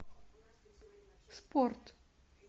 спорт